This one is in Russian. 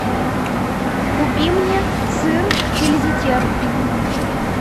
купи мне сыр тильзитер